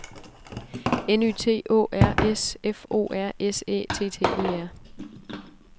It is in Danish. N Y T Å R S F O R S Æ T T E R